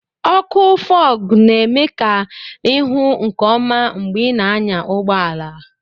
ọkụ Fog na-eme ka ị hụ nke ọma mgbe ị na-anya ụgbọ ala